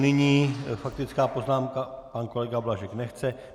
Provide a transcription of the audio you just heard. Nyní faktická poznámka - pan kolega Blažek nechce.